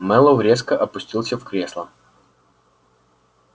мэллоу резко опустился в кресло